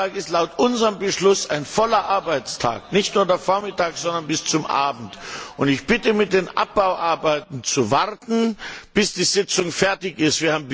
Der Donnerstag ist laut unserem Beschluss ein voller Arbeitstag, nicht nur der Vormittag, sondern bis zum Abend, und ich bitte, mit den Abbauarbeiten zu warten, bis die Sitzung fertig ist.